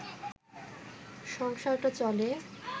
সংসারটা চলে